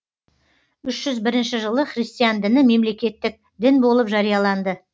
үш жүз бірінші жылы христиан діні мемлекеттік дін болып жарияланды